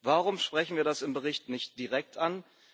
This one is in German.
Warum sprechen wir das im Bericht nicht direkt an?